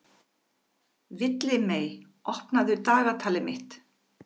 Villimey, opnaðu dagatalið mitt.